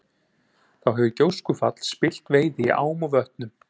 Þá hefur gjóskufall spillt veiði í ám og vötnum.